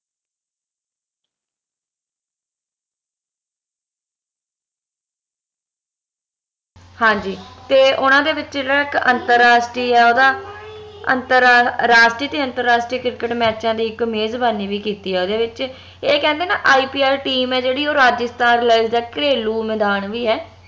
ਹਾਂਜੀ ਤੇ ਓਹਨਾ ਦੇ ਵਿਚ ਜੇਹੜਾ ਇਕ ਅੰਤੱਰਸ਼ਟਰੀਏ ਓਦਾਂ ਅੰਤੱਰਾਸ਼ ਰਾਸ਼ਟਰੀਏ ਤੇ ਅੰਤਰਾਸ਼ਟਰੀਏ ਕਿਰਕੇਟ ਮੈਚਾਂ ਦੀ ਇਕ ਮੇਜਬਾਣੀ ਵੀ ਕੀਤੀ ਆ ਓਹਦੇ ਵਿਚ ਏ ਕਹਿੰਦੇ ਨਾ IPL team ਆ ਜੇਹੜੀ ਰਾਜਸਥਾਨ ਰੋਇਲਸ ਦਾ ਇਕ ਘਰੇਲੂ ਮੈਦਾਨ ਵੀ ਆ